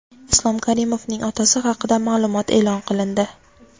Islom Karimovning otasi haqida ma’lumot e’lon qilindi.